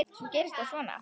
Svo gerist það svona.